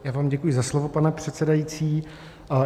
Já vám děkuji za slovo, pane předsedající.